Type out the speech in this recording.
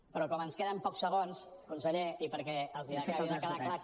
però com ens queden pocs segons conseller i perquè els acabi de quedar clar